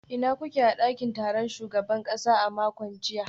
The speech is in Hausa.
Ina kuke a dakin taron shugaban kasa a makon jiya?